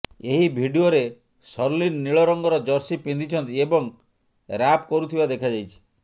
ଏହି ଭିଡିଓରେ ଶର୍ଲିନ ନୀଳ ରଙ୍ଗର ଜର୍ସି ପିନ୍ଧିଛନ୍ତି ଏବଂ ରାପ୍ କରୁଥିବା ଦେଖାଯାଇଛି